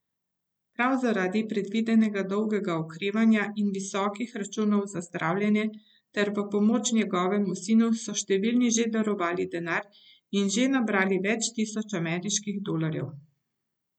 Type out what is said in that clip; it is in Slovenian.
Prav zaradi predvidenega dolgega okrevanja in visokih računov za zdravljenje ter v pomoč njegovemu sinu so številni že darovali denar in že nabrali več tisoč ameriških dolarjev.